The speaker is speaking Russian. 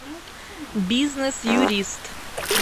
бизнес юрист